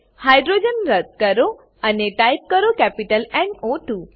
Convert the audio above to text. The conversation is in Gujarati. હાઇડ્રોજન રદ્દ કરો અને ટાઈપ કરો કેપિટલ ન ઓ 2